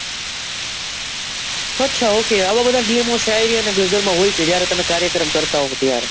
અચ્છા okay આવા બધા નિયમો શાયરી અને ગઝલો માં હોય છે. જયારે તમે કાર્યક્રમ કરતા હોય ત્યારે.